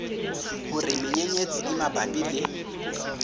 hore menyenyetsi e mabapi le